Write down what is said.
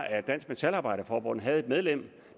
at dansk metalarbejderforbund havde et medlem